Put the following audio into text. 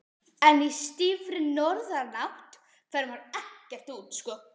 En í stífri norðanátt fer maður ekkert út.